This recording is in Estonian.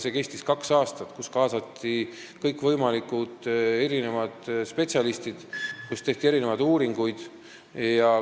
See kestis kaks aastat ja sinna kaasati kõikvõimalikke spetsialiste ning tehti uuringuid.